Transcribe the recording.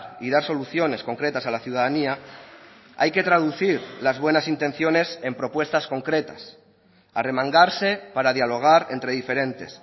y dar soluciones concretas a la ciudadanía hay que traducir las buenas intenciones en propuestas concretas arremangarse para dialogar entre diferentes